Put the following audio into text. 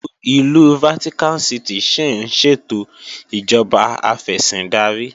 Ìlú Vatican City ṣín ṣètò ìjọba afẹ̀sìndarí